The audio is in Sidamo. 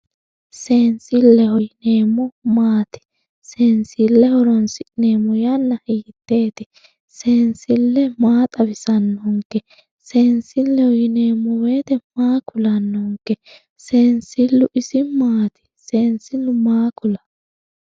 seensilleho yineemmohu maati? seensille horonsinemmo yanna hiiteeti? seensillu maa xawisannonke? sensilleho yineemmo woyte maa kulannonke. seensillu isi maati? seensillu maa kulawo?